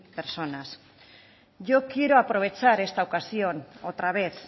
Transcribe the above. personas yo quiero aprovechar esta ocasión otra vez